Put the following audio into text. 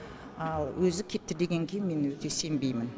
ал өзі кетті дегенге мен өте сенбеймін